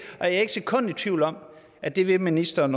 et sekund i tvivl om at det vil ministeren